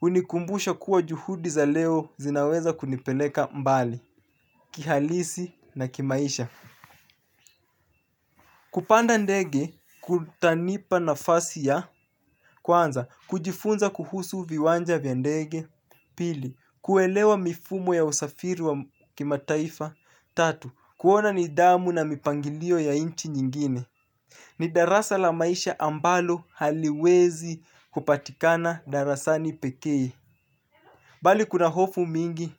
hunikumbusha kuwa juhudi za leo zinaweza kunipeleka mbali kihalisi na kimaisha. Kupanda ndege kutanipa nafasi ya kwanza kujifunza kuhusu viwanja vya ndege pili kuelewa mifumo ya usafiri wa kima taifa tatu kuona nidhamu na mipangilio ya inchi nyingine. Ni darasa la maisha ambalo haliwezi kupatikana darasani peke bali kuna hofu mingi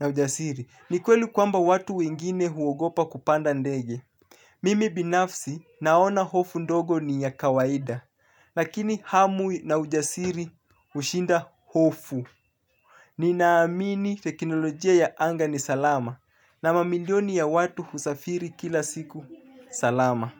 na ujasiri, ni kweli kwamba watu wengine huogopa kupanda ndege. Mimi binafsi naona hofu ndogo ni ya kawaida, lakini hamu na ujasiri hushinda hofu. Ninaamini teknolojia ya anga ni salama, na mamilioni ya watu husafiri kila siku, salama.